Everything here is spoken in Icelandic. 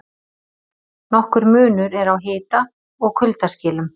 Nokkur munur er á hita- og kuldaskilum.